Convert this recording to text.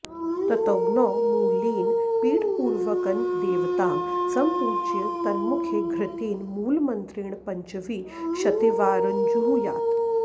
ततोऽग्नौ मूलेन पीठपूर्वकन्देवतां सम्पूज्य तन्मुखे घृतेन मूलमन्त्रेण पञ्चविंशतिवारञ्जुहुयात्